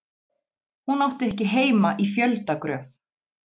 Hún átti ekki heima í fjöldagröf.